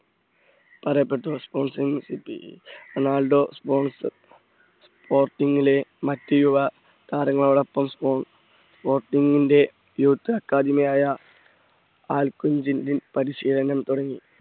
പറയപ്പെട്ടു sponsor Ronaldo spons സ്പോർട്ടിങ്ങിലെ മറ്റ് യുവതാരങ്ങളോടൊപ്പം sporting ന്റെ യൂത്ത് അക്കാദമിആയ ആൽക്കുംജിഞ്ചും പരിശീലനം തുടങ്ങി.